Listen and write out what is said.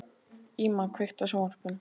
Íma, kveiktu á sjónvarpinu.